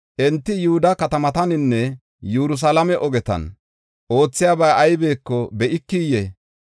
Enti Yihuda katamataninne Yerusalaame ogetan oothiyabay aybeko be7ikiyee?